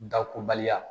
Dakoba